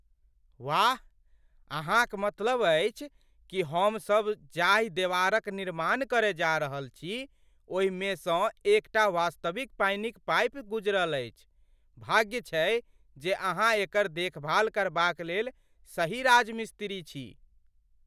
वाह, अहाँक मतलब अछि कि हम सब जाहिं देवारक निर्माण करय जाऽ रहल छी, ओहि मेसँ एकटा वास्तविक पानीक पाइप गुजरल अछि? भाग्य छै जे अहाँ एकर देखभाल करबाक लेल सही राजमिस्त्री छी।